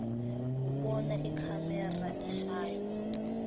ubona ikhamera ushaywa